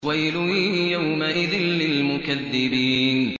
وَيْلٌ يَوْمَئِذٍ لِّلْمُكَذِّبِينَ